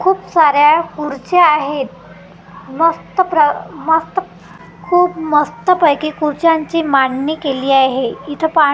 खूप साऱ्या खुर्च्या आहेत मस्त प्र मस्त खूप मस्तपैकी खुर्च्यांची मांडणी केली आहे इथं पा --